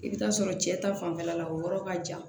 I bɛ taa sɔrɔ cɛ ta fanfɛla la o yɔrɔ ka jan